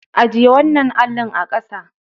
Ajiye wannan allin a ƙasa.